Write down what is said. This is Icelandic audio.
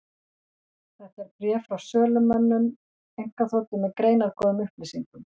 Þetta er bréf frá sölumönnum einkaþotu, með greinargóðum upplýsingum.